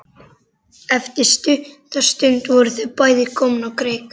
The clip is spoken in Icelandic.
Eftir stutta stund voru þau bæði komin á kreik.